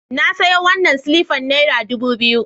Na sayo wannan silifan naira dubu biyu